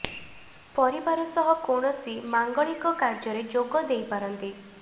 ପରିବାର ସହ କୌଣସି ମାଙ୍ଗାଳିକ କାର୍ଯ୍ୟରେ ଯୋଗ ଦେଇ ପାରନ୍ତି